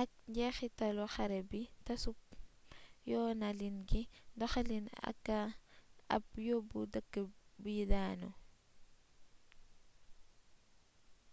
ak njeexitalu xare bi tasub yoonalin gi doxalin aka ad yóbbu dëkk yi daanu